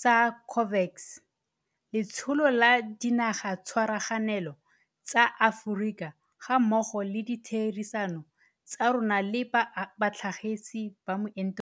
sa COVAX, letsholo la Dinagatshwaraganelo tsa Aforika gammogo le ditherisano tsa rona le batlhagisi ba meento e.